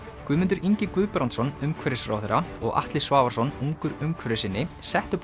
Guðmundur Ingi Guðbrandsson umhverfisráðherra og Atli Svavarsson ungur umhverfissinni settu